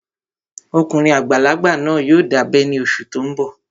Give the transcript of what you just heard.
Ọkùnrin àgbàlagbà náà yóò dábẹ́ ní oṣù tó n bọ̀